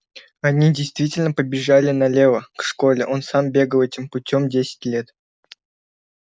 они действительно побежали налево к школе он сам бегал этим путём десять лет